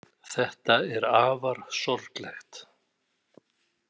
Þetta er afar sorglegt.